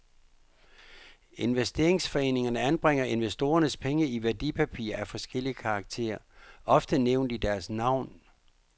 Investeringsforeningerne anbringer investorernes penge i værdipapirer af forskellig karakter, ofte nævnt i deres navn.